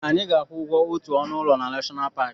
Anyị ga-akwụ ụgwọ otu ọnụ ụlọ na Nashọnal Paki.